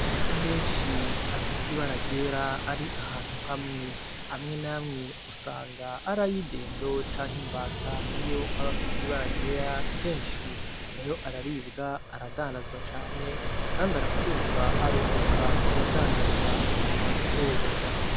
Amagi menshi afise ibara ryera ari ahantu hamwe amwe namwe usanga ari ay'indendo canke imbata niyo aba afise ibara ryera kenshi nayo araribwa aradandazwa cane kandi arakundwa arunguka ku badandaza no kubayorora.